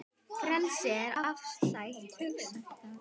Frelsi er afstætt hugtak